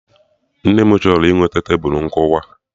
Nne m chọrọ iweta Tebulu nkụwa